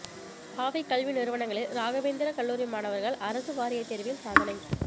பாவை கல்வி நிறுவனங்களில் ராகவேந்திரா கல்லூரி மாணவர்கள்அரசு வாரியத்தேர்வில் சாதனை